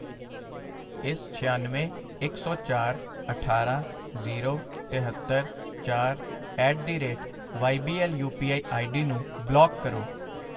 ਇਸ ਛਿਆਨਵੇਂ, ਇੱਕ ਸੌ ਚਾਰ, ਅਠਾਰਾਂ, ਜ਼ੀਰੋ, ਤਿਹੱਤਰ, ਚਾਰ at the rate Y B L U P I ID ਨੂੰ ਬਲਾਕ ਕਰੋ I